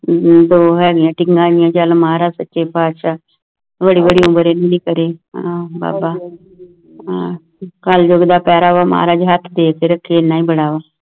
ਦੋ ਹੈਂ ਗਈ ਨਾ ਚਲ ਮਹਾਰਾਜ ਸਚੇ ਪਾਤਸ਼ਾਹ ਬੜੀ ਬੜੀ ਉਮਰ ਇਹਨਾਂ ਦੀ ਕਰੀ ਕਲਯੁਗ ਦਾ ਵਕਤ ਐ ਮਹਾਰਾਜ ਹਥ ਰਖੇ